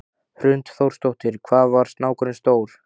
Hrund Þórsdóttir: Hvað var snákurinn stór?